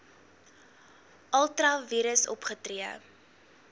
ultra vires opgetree